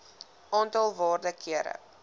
aantal waarde kere